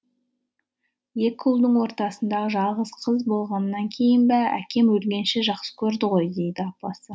екі ұлдың ортасындағы жалғыз қыз болғаннан кейін бе әкем өлгенше жақсы көрді ғой дейді апасы